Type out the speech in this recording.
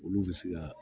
Olu bɛ se ka